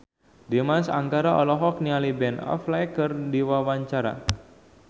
Dimas Anggara olohok ningali Ben Affleck keur diwawancara